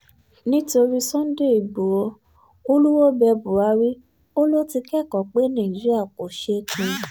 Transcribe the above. nítorí sunday igboro olúwoo bẹ buhari ó lọ ti kẹ́kọ̀ọ́ pé nàìjíríà kò sè é pin